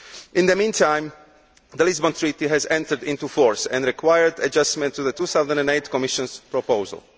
In the meantime the Lisbon Treaty has entered into force and required adjustment to the 2008 Commission proposal.